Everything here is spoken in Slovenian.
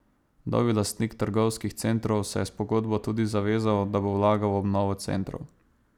Novi lastnik trgovskih centrov se je s pogodbo tudi zavezal, da bo vlagal v obnovo centrov.